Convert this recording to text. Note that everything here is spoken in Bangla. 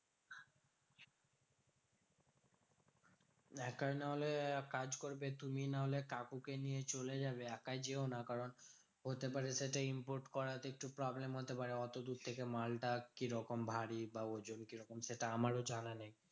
একার নাহলে এক কাজ করবে তুমি নাহলে কাকুকে নিয়ে চলে যাবে। একা যেও না কারণ হতে পারে সেটা import করাতে একটু problem হতে পারে। অতদূর থেকে মালটা কিরকম ভারী বা ওজন কিরকম সেটা আমারও জানা নেই?